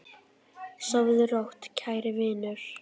Sofðu rótt, kæri vinur.